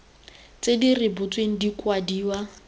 tse di rebotsweng di kwadiwa